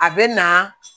A bɛ na